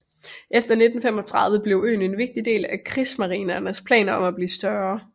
Efter 1935 blev øen en vigtig del af krigsmarinens planer om at blive større